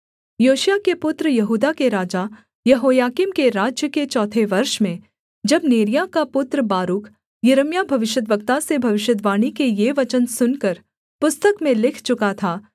योशिय्याह के पुत्र यहूदा के राजा यहोयाकीम के राज्य के चौथे वर्ष में जब नेरिय्याह का पुत्र बारूक यिर्मयाह भविष्यद्वक्ता से भविष्यद्वाणी के ये वचन सुनकर पुस्तक में लिख चुका था